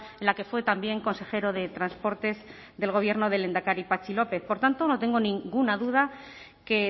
en la que fue también consejero de transportes del gobierno del lehendakari patxi lópez por tanto no tengo ninguna duda que